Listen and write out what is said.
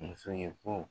Muso ye ko